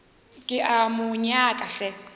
ke a mo nyaka hle